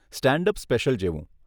Stand up special જેવું.